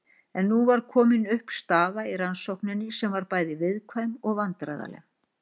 En nú var komin upp staða í rannsókninni sem var bæði viðkvæm og vandræðaleg.